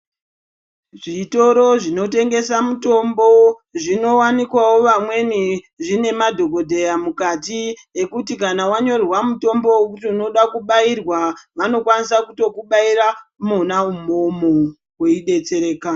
Zvitoro zvinotengesa mutombo zvinowanikwawo vamweni zvine madhokodheya mukati ekuti wanyanyorerwa mutombo wekuti unoda kubairwa vanokwanisa kutokubaira mwona umwomwo weidetsereka.